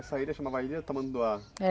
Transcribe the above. Essa ilha chamava Ilha Tamanduá?